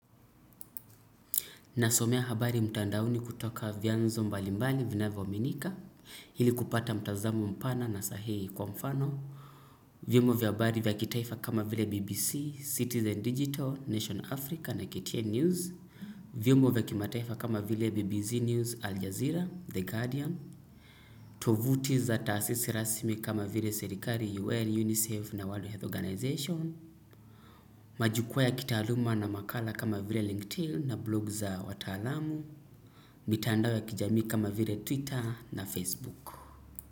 Nasomea habari mtandaoni kutoka vyanzo mbalimbali vinavyoaminika, ili kupata mtazamo mpana na sahihi kwa mfano. Vyombo vya habari vya kitaifa kama vile BBC, citizen digital, Nation Africa na KTN news. Vyombo vya kitaifa kama vile BBC News, Al Jazeera, The Guardian. Tovuti za taasisi rasimi kama vile serikali UN, UNICEF na World Health Organization. Majukwaa ya kitaaluma na makala kama vile LinkedIn na blog za wataalamu. Mitandao ya kijamii kama vile Twitter na Facebook.